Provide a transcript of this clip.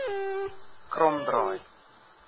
kromdraai